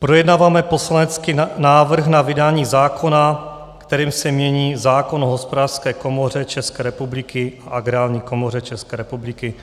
Projednáváme poslanecký návrh na vydání zákona, kterým se mění zákon o Hospodářské komoře České republiky a Agrární komoře České republiky,